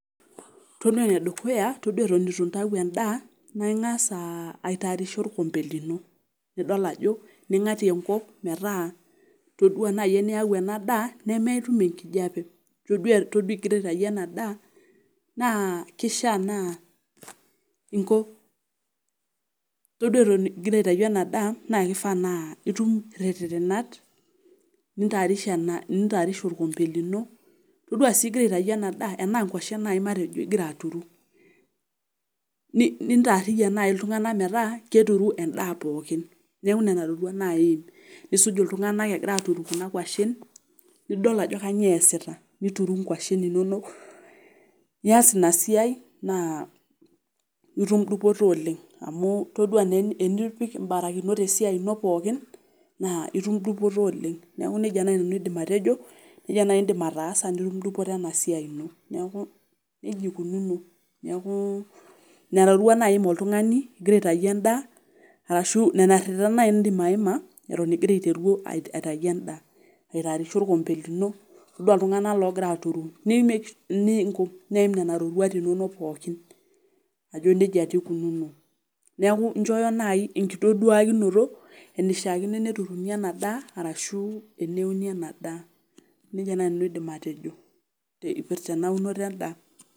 Todua enedukuya todua eton eitu intau endaa naa ingas aitaarisha olkombe lino, nidol ajo ningatie enkop metaa todua naai eniyau ena daa nemetum enkijape, todua egira aitayu ena daa naa kishaa naa todua eton egira aitayu ena daa naa kifaa itum irerenat nintaarisha olkombe lino, todua sii igira aitayu ena daa enaa nkuashen nai igira aturu nintaariyian naai iltunganak metaa keturu endaa pookin. Neeku nena roruata naai iim. Nisuj iltunganak egira aaturu kuna kwashen, nidol ajo kanyiio easita, nituru inkuashen inonok nias ina siai naa itum dupoto oleng',amu todua naa enipik ibarakinot esiai ino pookin naa itum dupoto oleng'. Neeku nejia naai aidim nanu atejo, nejia iidim aitaasa ena siai ino. Neeku nejia eikununo, neeku nena roruata naai iim oltungani egira aitayu endaa ino, arashu nena rerenat naai idim aima eton egira aitayu endaa. Aitaarisha olkombe todu iltunganak loogira aaturu neiim nena roruata inono pookin ajo nejia taa eikunono. Neeku injooyo naai engitaduakinoto ,enishaakino neturuni ena daa ashu neuni ena daa, nejia naai aidim atejo epirta ena unoto endaa.